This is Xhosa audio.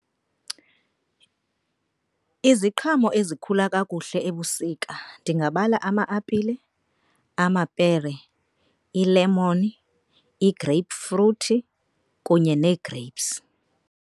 Iziqhamo ezikhula kakuhle ebusika. Ndingabala ama-apile, amapere, iilemoni, ii-grapefruit kunye neegreyipsi.